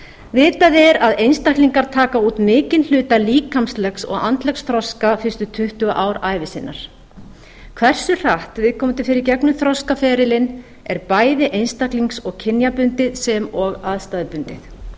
vitað er að einstaklingar taka út mikinn hluta líkamlegs og andlegs þroska fyrstu tuttugu ár ævi sinnar hversu hratt viðkomandi fer í gegnum þroskaferilinn er bæði einstaklings og kynjabundið sem og aðstæðubundið